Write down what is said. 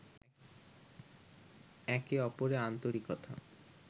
একে অপরের আন্তরিকতা